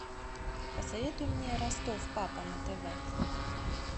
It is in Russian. посоветуй мне ростов папа на тв